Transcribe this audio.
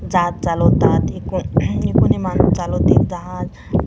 जहाज चालवतात हि कोणी माणूस चालवतात जहाज --